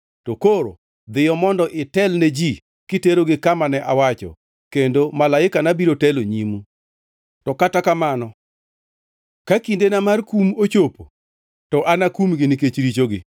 To koro, dhiyo mondo itelne ji kiterogi kama ne awacho kendo malaikana biro telo nyimu. To kata kamano, ka kindena mar kum ochopo to anakumgi nikech richogi.”